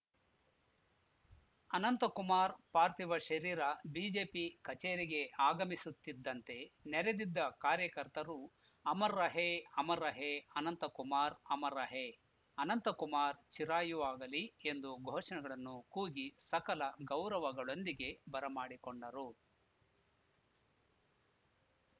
ಅನಂತಕುಮಾರ್‌ ಪಾರ್ಥಿವ ಶರೀರ ಬಿಜೆಪಿ ಕಚೇರಿಗೆ ಆಗಮಿಸುತ್ತಿದ್ದಂತೆ ನೆರೆದಿದ್ದ ಕಾರ್ಯಕರ್ತರು ಅಮರ್‌ ರಹೇ ಅಮರ್‌ ರಹೇ ಅನಂತ ಕುಮಾರ್‌ ಅಮರ್‌ ರಹೇ ಅನಂತಕುಮಾರ್‌ ಚಿರಾಯುವಾಗಲಿ ಎಂದು ಘೋಷಣೆಗಳನ್ನು ಕೂಗಿ ಸಕಲ ಗೌರವಗಳೊಂದಿಗೆ ಬರಮಾಡಿಕೊಂಡರು